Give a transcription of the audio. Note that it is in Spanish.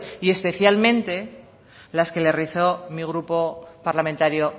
y especialmente las que le realizó mi grupo parlamentario